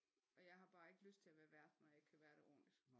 Og jeg har bare ikke lyst til at være vært når jeg ikke kan være det ordentligt